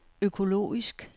økologisk